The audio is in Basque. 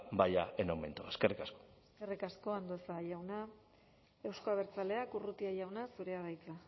vaya en aumento eskerrik asko eskerrik asko andueza jauna euzko abertzaleak urrutia jauna zurea da hitza